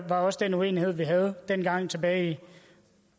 var også den uenighed vi havde dengang tilbage i